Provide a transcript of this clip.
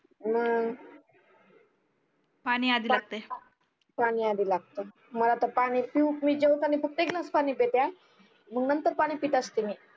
मग पानी आधी लागते पानी आधी लागते मला त पानी पिऊ मी जेवटणी फक्त एक ग्लास पानी पिते मग नंतर पानी पित असते मी